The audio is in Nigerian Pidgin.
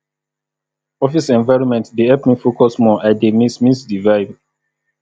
office environment dey help me focus more i dey miss miss the vibe